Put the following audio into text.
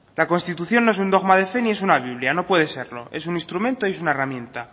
la constitución no es un dogma de fe ni es una biblia no puede serlo es un instrumento y es una herramienta